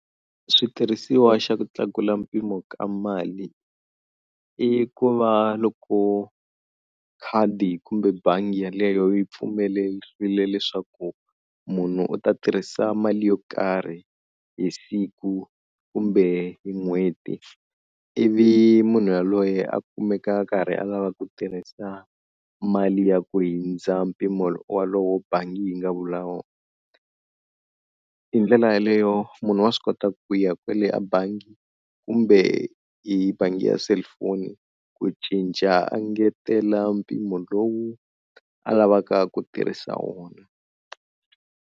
Switirhisiwa xa ku tlakula mpimo ka mali i ku va loko khadi kumbe bangi yaleyo yi pfumerile leswaku munhu u ta tirhisa mali yo karhi hi siku kumbe hi n'hweti ivi munhu yaloye a kumeka a karhi a lava ku tirhisa mali ya ku hindza mpimo wolowo bangi yi nga vula wona. Hi ndlela yaleyo munhu wa swi kota ku ya kwele abangi kumbe hi bangi ya selifoni ku cinca angetela mpimo lowu a lavaka ku tirhisa wona.